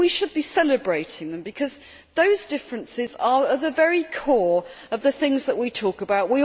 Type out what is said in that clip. We should be celebrating them, because those differences are at the very core of the things that we talk about.